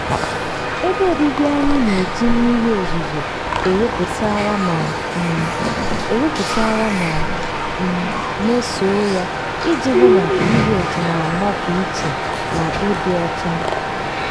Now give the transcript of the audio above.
ebe obibi anyị na-eji mmiri ozuzo ewepụtara ma um ewepụtara ma um mesoo ya iji hụ na ph na-anọpụ iche na ịdị ọcha.